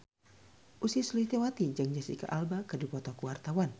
Ussy Sulistyawati jeung Jesicca Alba keur dipoto ku wartawan